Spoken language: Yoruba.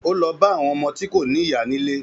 Ó lọ bá àwọn ọmọ tí kò ní ìyá nílé